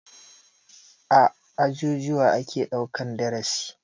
A ajujuwa ake ɗaukan darasi.